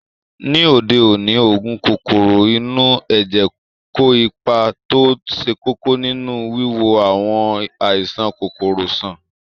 Ní òde òní, oògùn kòkòrò inú ẹ̀jẹ̀ kó ipa tó ṣe kókó nínú wíwo àwọn àìsàn kòkòrò sàn